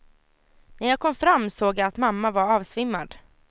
När jag kom fram såg jag att mamma var avsvimmad.